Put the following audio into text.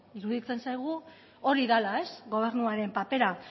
iruditzen zaigu hori dela gobernuaren papera